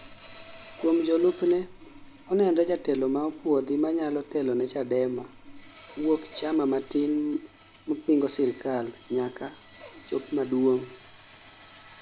Kuom jolupne, onenre jatelo ma opuodhi manyalo teloni Chadema wuok chama matin ma pingo sirkal nyaka chop maduong'